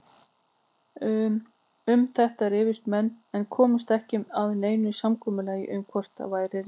Um þetta rifust menn en komust ekki að neinu samkomulagi um hvort væri rétt.